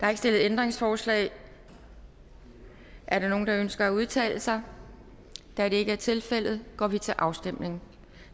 er ikke stillet ændringsforslag er der nogen der ønsker at udtale sig da det ikke er tilfældet går vi til afstemning